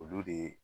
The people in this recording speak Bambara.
Olu de